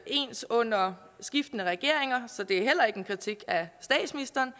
ens under skiftende regeringer så det er heller ikke en kritik af statsministeren